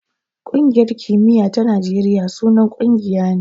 Ƙungiyar kimiya ta Najeriya sunan ƙungiya ne.